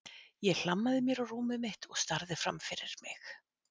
Ég hlammaði mér á rúmið mitt og starði fram fyrir mig.